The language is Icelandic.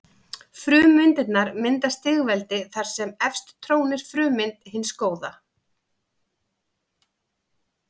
Frummyndirnar mynda stigveldi þar sem efst trónir frummynd hins góða.